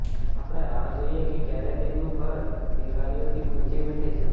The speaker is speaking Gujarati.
આપણે રાહ જોઈએ કે ક્યારે તેમનું ઘર કિલકારીઓથી ગૂંજી ઉઠે છે